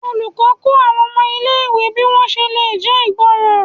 olùkó kó àwọn ọmọ ilé ìwé bi wọn ṣe lè jé ìgbọràn